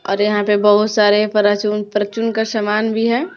और यहां पे बहुत सारे पराचून परचून का सामान भी है।